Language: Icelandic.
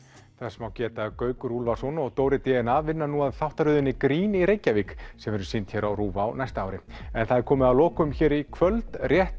þess má geta að Gaukur Úlfarsson og Dóri d n a vinna nú að þáttaröðinni grín í Reykjavík sem verður sýnd hér á RÚV á næsta ári en það er komið að lokum í kvöld rétt